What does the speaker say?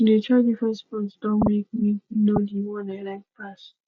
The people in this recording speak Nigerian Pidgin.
to de try different sports don make me know di one i like pass